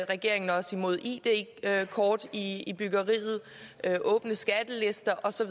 regeringen er også imod id kort i byggeriet åbne skattelister og så